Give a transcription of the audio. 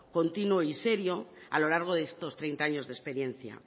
continuo y serio a lo largo de estos treinta años de experiencia